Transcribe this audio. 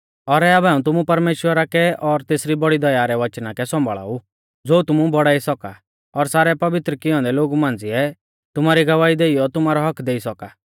और आबै हाऊं तुमु परमेश्‍वरा कै और तेसरी बौड़ी दया रै वचना कै सौंभाल़ा ऊ ज़ो तुमु बौड़ाई सौका और सारै पवित्र किऐ औन्दै लोगु मांझ़िऐ तुमारी गवाही देइयौ तुमारौ हक्क्क देई सौका